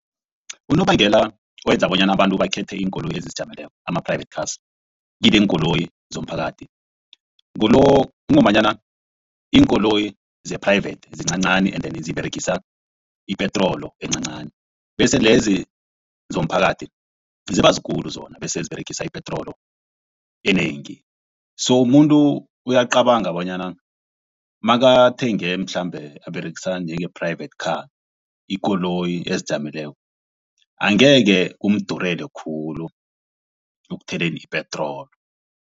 Unobangela owenza bonyana abantu bakhethe iinkoloyi ezizijameleko ama-private cars kuneenkoloyi zomphakathi kungombanyana iinkoloyi ze-private zincancani and then ziberegisa ipetroli encancani bese lezi zomphakathi ziba zikulu zona bese ziberegisa ipetroli enengi. So muntu uyacabanga bonyana makathenge mhlambe aberegisa njenge-private car ikoloyi ezijameleko angeke kumdurele khulu ukuthelela ipetroli.